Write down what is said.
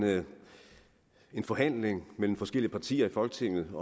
en forhandling mellem forskellige partier i folketinget